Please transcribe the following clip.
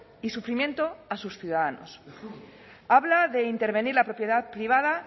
y sufrimiento a sus ciudadanos habla de intervenir la propiedad privada